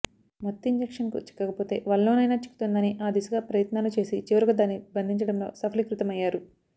మత్తు ఇంజెక్షన్కు చిక్కకపోతే వలలోనైనా చిక్కుతుందని ఆ దిశగా ప్రయత్నాలు చేసి చివరకు దాన్ని బంధించడంలో సఫలీకృతమయ్యారు